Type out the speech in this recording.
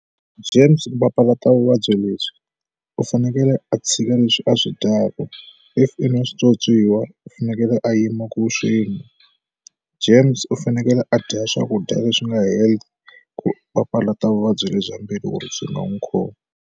James ku papalata vuvabyi lebyi u fanekele a tshika leswi a swi dyaka if i na switswotswiwa u fanekele a yima ku swinwa, James u fanekele a dya swakudya leswi nga health ku papalata vuvabyi lebyi bya mbilu ku ri byi nga n'wi khomi.